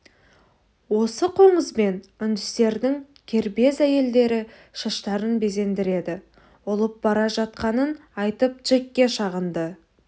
осы қоңызбен үндістердің кербез әйелдері шаштарын безендіреді ұлып бара жатқанын айтып джекке шағынды